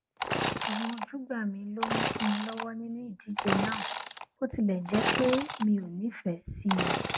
àwọn ojúgbà mi ló mú kí n lówó nínú ìdíje náà bó tilè jé pé mi ò nífèé sí i